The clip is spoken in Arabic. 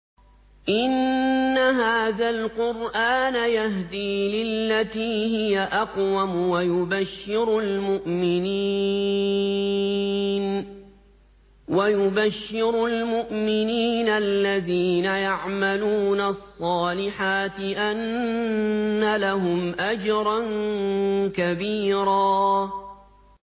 إِنَّ هَٰذَا الْقُرْآنَ يَهْدِي لِلَّتِي هِيَ أَقْوَمُ وَيُبَشِّرُ الْمُؤْمِنِينَ الَّذِينَ يَعْمَلُونَ الصَّالِحَاتِ أَنَّ لَهُمْ أَجْرًا كَبِيرًا